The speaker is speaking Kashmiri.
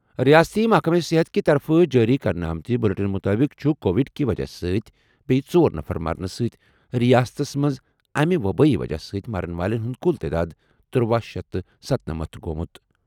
رِیٲستی محکمہٕ صحت کہِ طرفہٕ جٲری کرنہٕ آمٕتہِ بُلیٹن مُطٲبِق چُھ کووِڈ کہِ وجہ سۭتۍ بیٚیہِ ژور نفر مرنہٕ سۭتۍ رِیاستس منٛز امہِ وبٲیی وجہ سۭتۍ مرن والٮ۪ن ہُنٛد کُل تعداد ترٗۄَہ شیتھ تہٕ ستَنٔمتھ گوٚومُت۔